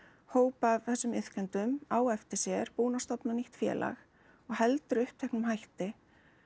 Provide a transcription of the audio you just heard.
hóp af þessum iðkendum á eftir sér búinn að stofna nýtt félag og heldur uppteknum hætti